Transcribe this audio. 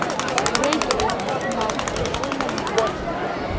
Reykjavík: Mál og menning.